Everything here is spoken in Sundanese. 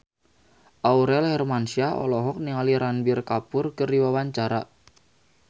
Aurel Hermansyah olohok ningali Ranbir Kapoor keur diwawancara